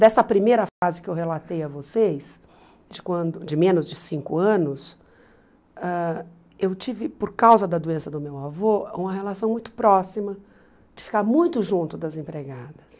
Dessa primeira fase que eu relatei a vocês, de quando de menos de cinco anos, ãh eu tive, por causa da doença do meu avô, uma relação muito próxima, de ficar muito junto das empregadas.